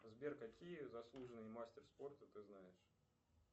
сбер какие заслуженные мастер спорта ты знаешь